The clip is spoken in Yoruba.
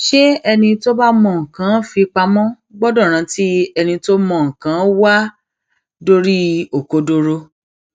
ṣé ẹni tó bá mọ nǹkan í fi pamọ gbọdọ rántí ẹni tí mọ nǹkan í wá dórí òkodoro